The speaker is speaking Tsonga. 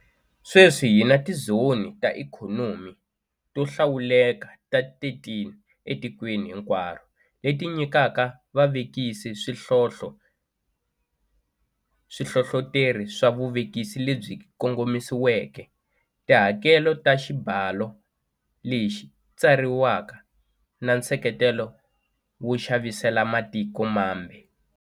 Sweswi hi na tizoni ta ikhonomi to hlawuleka ta 13 etikweni hinkwaro, leti nyikaka vavekisi swihlohloteri swa vuvekisi lebyi kongomisiweke, tihakelo ta xibalo leti tsakeriwaka na nseketelo wo xavisela matiko mambe.